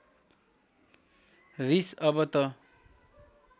रिस अब त